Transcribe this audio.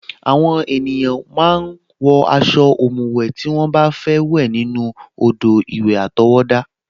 Àwọn ènìyàn a máa ń wọ aṣọ ọ̀mùwẹ̀ tí wọ́n bá fẹ́ wẹ̀ nínú odò-ìwẹ̀ àtọwọ́dá